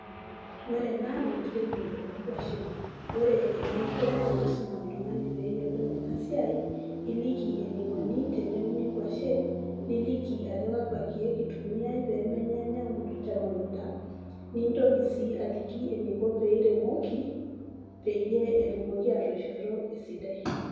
Ore ena naa enkiremore oonkuashen ore eninko teniisum oltung'ani pee eyiolou ena siaai iliki enikoni teneuni nkuashen niliki ajo kakwa keek itumiaai pee menye inyaun emukunda nintoki sii aliki eniko pee iremoki peyie etumoki aatoishoto esidai.